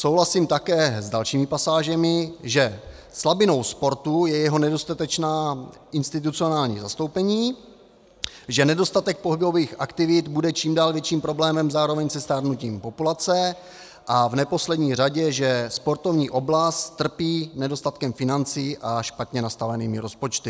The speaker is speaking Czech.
Souhlasím také s dalšími pasážemi, že slabinou sportu je jeho nedostatečné institucionální zastoupení, že nedostatek pohybových aktivit bude čím dál větším problémem zároveň se stárnutím populace, a v neposlední řadě, že sportovní oblast trpí nedostatkem financí a špatně nastavenými rozpočty.